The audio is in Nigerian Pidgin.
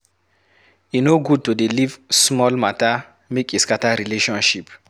E no good to dey leave small mata make e scatter relationship.